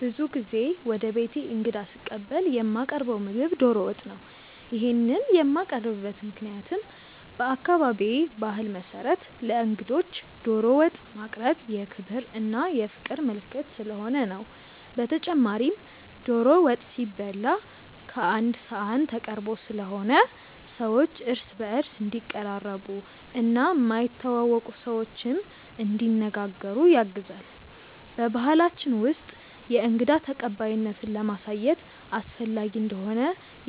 ብዙ ጊዜ ወደ ቤቴ እንግዳ ስቀበል የማቀርው ምግብ ዶሮ ወጥ ነው። ይሄንን የማቀርብበት ምክንያትም በአካባቢዬ ባህል መሰረት ለእንግዶች ዶሮ ወጥ ማቅረብ የክብር እና የፍቅር ምልክት ስለሆነ ነው። በተጨማሪም ዶሮ ወጥ ሲበላ ቀአንድ ሰሀን ተቀርቦ ስለሆነ ሰዎች እርስ በእርስ እንዲቀራረቡ እና የማይተዋወቁ ሰዎችንም እንዲነጋገሩ ያግዛል። በባሕላችን ውስጥ የእንግዳ ተቀባይነትን ለማሳየት አስፈላጊ እንደሆነ